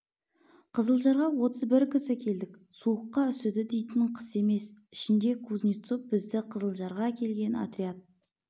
қызылжарға отыз бір кісі келдік суыққа үсіді дейтін қыс емес ішінде кузнецов бізді қызылжарға әкелген отряд